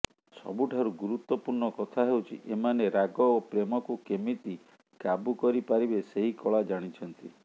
ସବୁଠାରୁ ଗୁରୁତ୍ୱପୂର୍ଣ୍ଣ କଥା ହେଉଛି ଏମାନେ ରାଗ ଓ ପ୍ରେମକୁ କେମିତି କାବୁ କରିପାରିବେ ସେହି କଳା ଜାଣିଛନ୍ତି